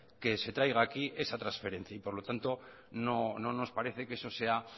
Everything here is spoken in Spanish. que se traiga aquí esa transferencia y por lo tanto no nos parece que eso sea